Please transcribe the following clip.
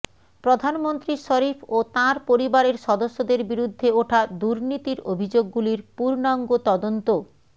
প্রধানমন্ত্রী শরিফ ও তাঁর পরিবারের সদস্যদের বিরুদ্ধে ওঠা দুর্নীতির অভিযোগগুলির পূর্ণাঙ্গ তদন্ত